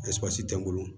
tɛ n bolo